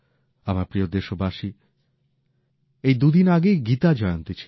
আমার প্রিয় দেশবাসী এই দুদিন আগেই গীতা জয়ন্তী ছিল